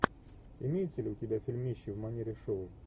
имеется ли у тебя фильмище в манере шоу